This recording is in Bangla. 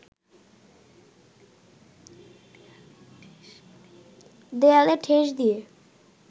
দেয়ালে ঠেস দিয়ে